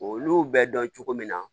Olu bɛ dɔn cogo min na